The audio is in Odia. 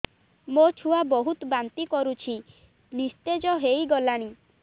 ମୋ ଛୁଆ ବହୁତ୍ ବାନ୍ତି କରୁଛି ନିସ୍ତେଜ ହେଇ ଗଲାନି